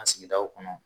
A sigidaw kɔnɔ